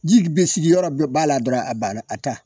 Ji g be sigiyɔrɔ be b'a la dɔrɔn a banna a ta